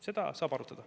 Seda saab arutada.